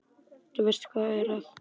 Þú veist, hvað er það?